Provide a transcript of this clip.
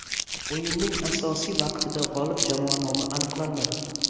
O‘yinning asosiy vaqtida g‘olib jamoa nomi aniqlanmadi.